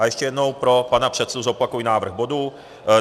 A ještě jednou pro pana předsedu zopakuji návrh bodu.